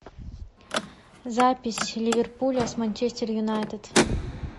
запись ливерпуля с манчестер юнайтед